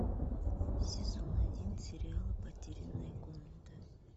сезон один сериала потерянная комната